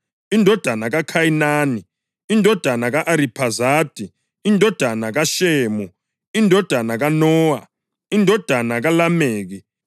indodana kaKhayinani, indodana ka-Ariphazadi, indodana kaShemu, indodana kaNowa, indodana kaLameki,